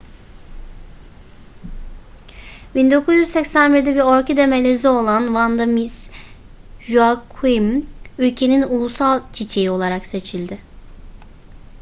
1981'de bir orkide melezi olan vanda miss joaquim ülkenin ulusal çiçeği olarak seçildi